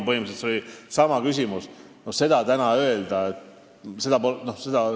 Põhimõtteliselt oli see sama küsimus.